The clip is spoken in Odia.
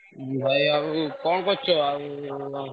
ଭାଇ ଆଉ କଣ କରୁଛ ଆଉ?